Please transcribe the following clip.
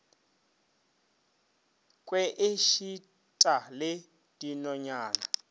kwe e šita le dinonyana